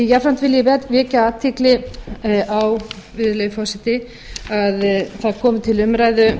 jafnframt vil ég vekja athygli virðulegi forseti á að það komu til umræðu